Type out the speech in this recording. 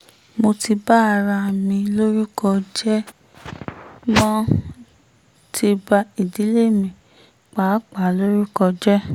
mo ti ba ara mi lórúkọ jẹ́ mo um ti ba ìdílé mi um pàápàá lórúkọ jẹ́